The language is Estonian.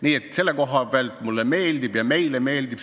Nii et selles mõttes mulle ja meile see eelnõu meeldib.